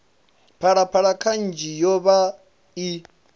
phalaphala kanzhi yo vha i